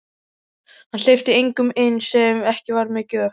Hann hleypti engum inn sem ekki var með gjöf.